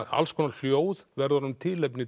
alls konar hljóð verða honum tilefni